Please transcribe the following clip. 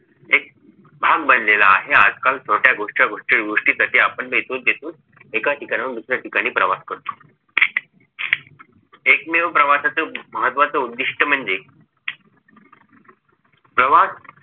भाग बनलेला आहे. आजकाल छोटया रोजच्या गोष्टीसाठी आपण एका ठिकाणांहून दुसऱ्या ठिकाणी प्रवास करतो एकमेव प्रवासाचं महत्वाचं उद्धिष्ट म्हणजे प्रवास